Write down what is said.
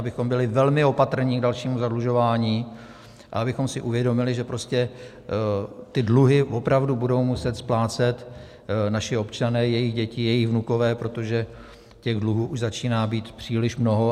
Abychom byli velmi opatrní k dalšímu zadlužování a abychom si uvědomili, že prostě ty dluhy opravdu budou muset splácet naši občané, jejich děti, jejich vnukové, protože těch dluhů už začíná být příliš mnoho.